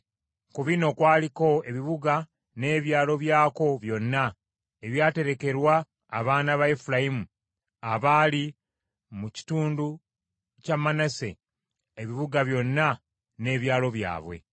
Ku bino kwaliko ebibuga n’ebyalo byakwo byonna ebyaterekerwa abaana ba Efulayimu abaali mu kitundu kya Manase ebibuga byonna n’ebyalo byabwe.